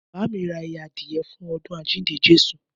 Bàámi rà àyẹ àdíyẹ fún ọ̀dún àjíndẹ jẹsu